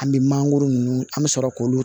An bɛ mangoro ninnu an bɛ sɔrɔ k'olu